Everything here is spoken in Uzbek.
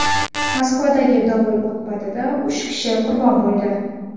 Moskvadagi dovul oqibatida uch kishi qurbon bo‘ldi.